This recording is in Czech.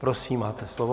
Prosím, máte slovo.